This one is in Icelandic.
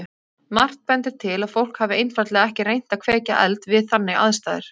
Margt bendir til að fólk hafi einfaldlega ekki reynt að kveikja eld við þannig aðstæður.